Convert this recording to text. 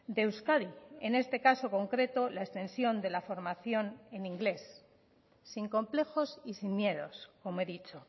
de euskadi en este caso concreto la extensión de la formación en inglés sin complejos y sin miedos como he dicho